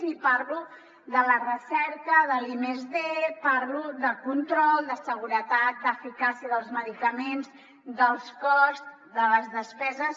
i parlo de la recerca de l’r+d parlo de control de seguretat d’eficàcia dels medicaments del cost de les despeses